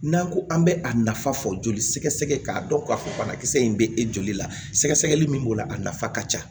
N'an ko an bɛ a nafa fɔ joli sɛgɛ sɛgɛ k'a dɔn k'a fɔ banakisɛ in bɛ e joli la sɛgɛsɛgɛli min b'o la a nafa ka ca